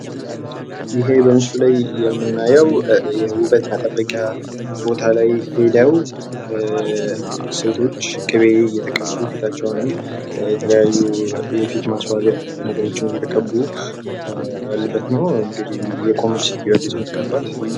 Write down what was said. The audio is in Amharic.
ይሄ በምስሉ ላይ የምናየው ውበት መጠበቂያ ቦታ ላይ ሄደው ሴቶች ቂቤ እየተቀቡ ፣ ፊታቸውን የተለያዩ የፊት ማስዋቢያ ነገሮችን እየተቀቡ ያሉበት ነው እንግዲ የቆመች ሴትዮ አለች የምትቀባት፡፡